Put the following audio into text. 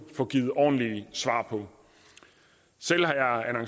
få givet ordentlige svar på selv har